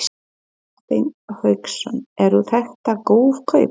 Hafsteinn Hauksson: Og eru þetta góð kaup?